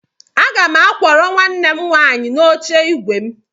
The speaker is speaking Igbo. Aga m akwọrọ nwanne m nwaanyị n'oche ígwè m.